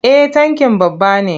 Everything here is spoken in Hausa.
Eh tankin babba ne.